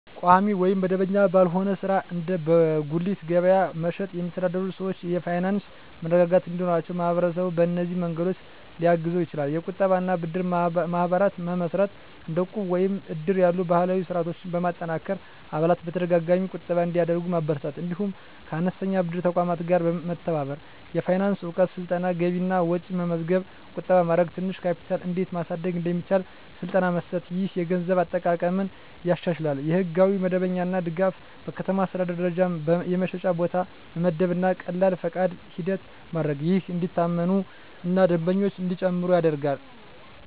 ቋሚ ወይም መደበኛ ባልሆነ ሥራ (እንደ በጉሊት ገበያ መሸጥ) የሚተዳደሩ ሰዎች የፋይናንስ መረጋጋት እንዲኖራቸው ማህበረሰቡ በእነዚህ መንገዶች ሊያግዛቸው ይችላል፦ የቁጠባ እና ብድር ማህበራት መመስረት – እንደ ዕቁብ ወይም እድር ያሉ ባህላዊ ስርዓቶችን በማጠናከር አባላት በተደጋጋሚ ቁጠባ እንዲያደርጉ ማበረታታት። እንዲሁም ከአነስተኛ ብድር ተቋማት ጋር መተባበር። የፋይናንስ እውቀት ስልጠና – ገቢና ወጪ መመዝገብ፣ ቁጠባ ማድረግ፣ ትንሽ ካፒታል እንዴት ማሳደግ እንደሚቻል ስልጠና መስጠት። ይህ የገንዘብ አጠቃቀምን ያሻሽላል። የሕጋዊ መደበኛነት ድጋፍ – በከተማ አስተዳደር ደረጃ የመሸጫ ቦታ መመደብ እና ቀላል ፈቃድ ሂደት ማድረግ፣ ይህም እንዲታመኑ እና ደንበኞች እንዲጨምሩ ይረዳል።